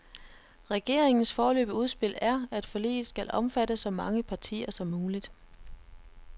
Regeringens foreløbige udspil er, at forliget skal omfatte så mange partier som muligt.